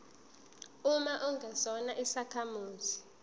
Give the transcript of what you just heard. uma ungesona isakhamuzi